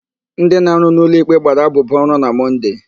Ndị na-arụ n'ụlọikpe gbara abụbụ ọrụ na Mọnde.